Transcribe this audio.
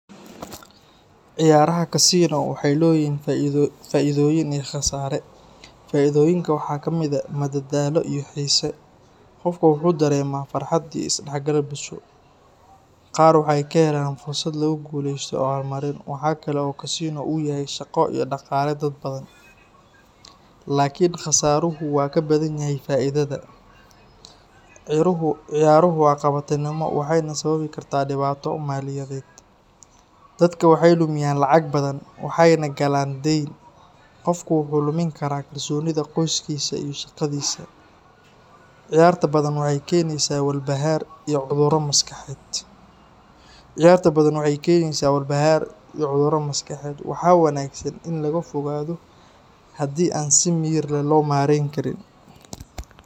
Ciyaaraha casino waxay leeyihiin faa’iidooyin iyo khasaare. Faa’iidooyinka waxaa ka mid ah madadaalo iyo xiise. Qofka wuxuu dareemaa farxad iyo isdhexgal bulsho. Qaar waxay ka helaan fursado lagu guuleysto abaalmarin. Waxa kale oo casino u yahay shaqo iyo dhaqaale dad badan. Laakiin khasaaruhu waa ka badan yahay faa’iidada. Ciyaaruhu waa qabatimo waxayna sababi karaan dhibaato maaliyadeed. Dadka waxay lumiyaan lacag badan, waxayna galaan dayn. Qofka wuxuu lumin karaa kalsoonida qoyskiisa iyo shaqadiisa. Ciyaarta badan waxay keenaysaa walbahaar iyo cudurro maskaxeed. Waxaa wanaagsan in laga fogaado haddii aan si miyir leh loo maareyn karin.